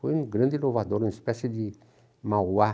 Foi um grande inovador, uma espécie de Mauá.